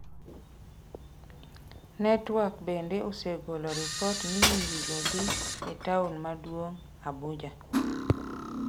Network bende osegolo ripot ni nyirigo dhi e taon maduong’, Abuja.